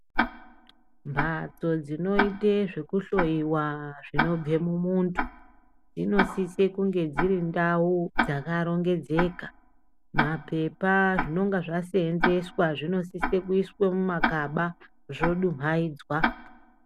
Mhatso dzinoite zvekuhloyiwa zvinobve mumuntu, dzinosise kunge dziri ndau dzakarongedzeka. Mapepa, zvinenge zvaseenzeswa zvinosise kuiswe mumagaba zvodumhaidzwa.